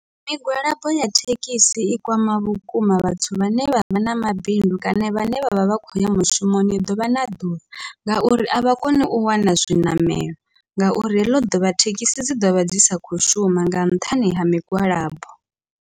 Migwalabo ya thekhisi i kwama vhukuma vhathu vhane vha vha na mabindu kana vhane vha vha vha khou ya mushumoni ḓuvha na ḓuvha, ngauri avha koni u wana zwiṋamelo ngauri heḽo ḓuvha thekhisi dzi ḓovha dzi sa khou shuma nga nṱhani ha migwalabo.